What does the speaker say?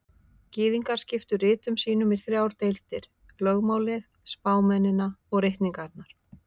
Gyðingar skiptu ritum sínum í þrjár deildir: Lögmálið, spámennina og ritningarnar.